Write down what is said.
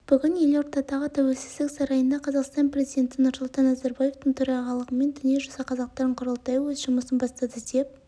бүгін елордадағы тәуелсіздік сарайында қазақстан президенті нұрсұлтан назарбаевтың төрағалығымен дүниежүзі қазақтарының құрылтайы өз жұмысын бастады деп